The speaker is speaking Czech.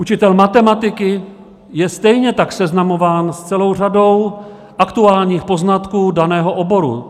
Učitel matematiky je stejně tak seznamován s celou řadou aktuálních poznatků daného oboru.